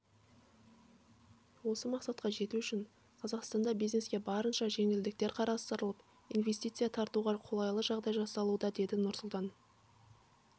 осы мақсатқа жету үшін қазақстанда бизнеске барынша жеңілдіктер қарастырылып инвестиция тартуға қолайлы жағдай жасалуда деді нұрсұлтан